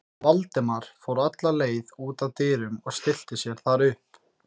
Valdimar fór alla leið út að dyrum og stillti sér þar upp.